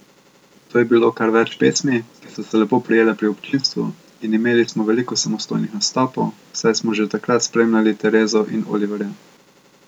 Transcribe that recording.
Tu je bilo kar več pesmi, ki so se lepo prijele pri občinstvu, in imeli smo veliko samostojnih nastopov, saj smo že takrat spremljali Terezo in Oliverja.